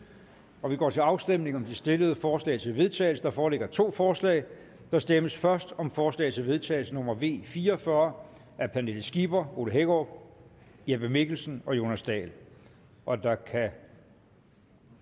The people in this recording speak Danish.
og vi går til afstemning om de stillede forslag til vedtagelse der foreligger to forslag der stemmes først om forslag til vedtagelse nummer v fire og fyrre af pernille skipper ole hækkerup jeppe mikkelsen og jonas dahl og der kan